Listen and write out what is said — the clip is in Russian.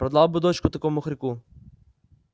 продал бы дочку такому хорьку